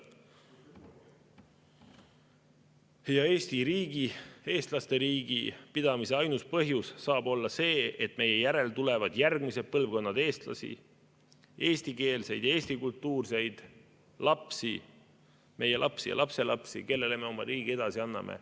Ja Eesti riigi, eestlaste riigi pidamise ainus põhjus saab olla see, et meie järel tulevad järgmised põlvkonnad eestlasi, eestikeelseid, eestikultuurseid lapsi, meie lapsi ja lapselapsi, kellele me oma riigi edasi anname.